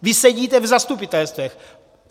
Vy sedíte v zastupitelstvech.